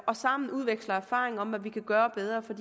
og sammen udveksler erfaringer om hvad vi kan gøre bedre for